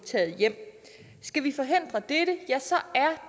hjem skal vi forhindre dette er